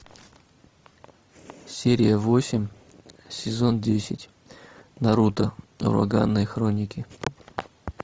серия восемь сезон десять наруто ураганные хроники